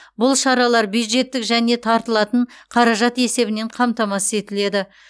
бұл шаралар бюджеттік және тартылатын қаражат есебінен қамтамасыз етіледі